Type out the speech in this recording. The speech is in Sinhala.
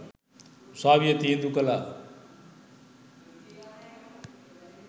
උසාවිය තීන්දු කළා.